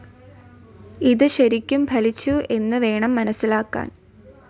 ഇത് ശരിക്കും ഫലിച്ചു എന്ന് വേണം മനസ്സിലാക്കാൻ.